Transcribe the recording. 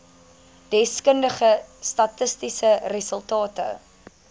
deskundige statistiese resultate